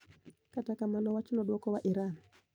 Kata kamano, wachno duoko wa Iran.